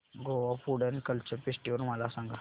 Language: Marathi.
Goa food and culture festival मला सांगा